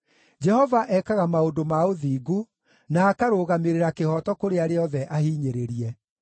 Jehova ekaga maũndũ ma ũthingu, na akarũgamĩrĩra kĩhooto kũrĩ arĩa othe ahinyĩrĩrie.